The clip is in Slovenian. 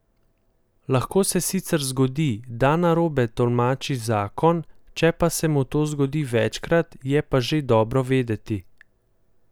Lahko se sicer zgodi, da narobe tolmači zakon, če pa se mu to zgodi večkrat, je pa že dobro vedeti.